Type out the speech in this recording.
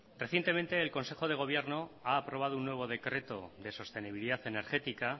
recientemente el consejo de gobierno ha aprobado un nuevo decreto de sostenibilidad energética